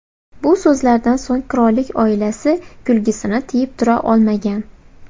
Bu so‘zlardan so‘ng qirollik oilasi kulgisini tiyib tura olmagan.